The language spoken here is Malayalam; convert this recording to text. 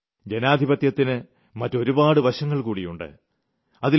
എന്നാൽ ജനാധിപത്യത്തിന് മറ്റൊരുപാട് വശങ്ങൾ കൂടിയുണ്ട്